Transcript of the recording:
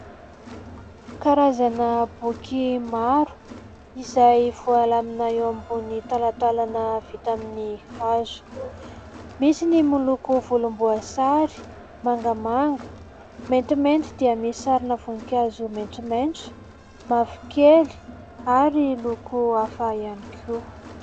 Karazana boky maro izay voalamina eo ambony talantalana vita amin'ny hazo. Misy ny miloko volomboasary, mangamanga, maintimainty ; dia misy sarina voninkazo maintimainty, mavokely ary loko hafa ihany koa.